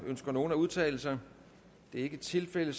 ønsker nogen at udtale sig det er ikke tilfældet